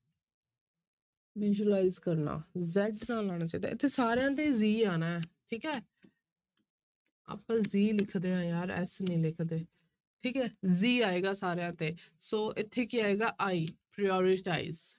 Visualize ਕਰਨਾ z ਨਾਲ ਆਉਣਾ ਚਾਹੀਦਾ ਇੱਥੇ ਸਾਰਿਆਂ ਤੇ g ਆਉਣਾ ਹੈ ਠੀਕ ਹੈ ਆਪਾਂ g ਲਿਖਦੇ ਹਾਂ ਯਾਰ s ਨੀ ਲਿਖਦੇ ਠੀਕ ਹੈ g ਆਏਗਾ ਸਾਰਿਆਂ ਤੇ ਸੋ ਇੱਥੇ ਕੀ ਆਏਗਾ i, prioritize